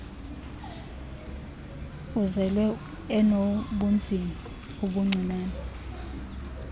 uzelwe enobunzima obuncinane